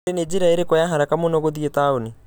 olly nĩ njĩra ĩriku ya haraka mũno ya gũthiĩ taũni